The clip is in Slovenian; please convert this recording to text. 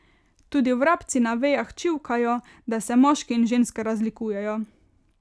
Tudi vrabci na vejah čivkajo, da se moški in ženske razlikujejo.